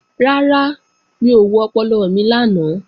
Rárá, mi ò wo ọpọlọ mi lánàá